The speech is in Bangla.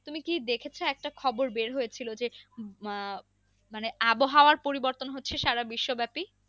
তুমি কি দেখেছো যে একটা খবর বের হয়েছিল যে আহ মানে আবহাওয়ার পরিবর্তন হচ্ছে সারা বিশ্বব্যাপী।